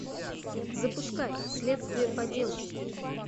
запускай следствие по делу